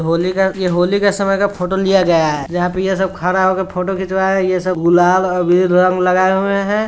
होली का यह होली का समय का फोटो लिया गया है जहा पे यह सब खड़ा होकर फोटो खिचवा रहा हैं| गुलाल और विविद रंग लगाए हुए हैं।